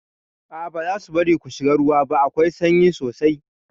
A'a bazasu bari ku shiga ruwa ba, akwai sanyi sosai